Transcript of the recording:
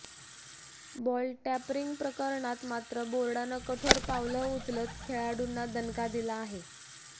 ball टँपरिंगप्रकरणात मात्र बोर्डानं कठोर पावलं उचलत खेळाडूंना दणका दिला आहे